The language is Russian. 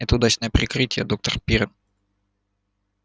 это удачное прикрытие доктор пиренн